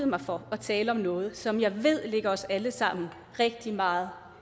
mig for at tale om noget som jeg ved ligger os alle sammen rigtig meget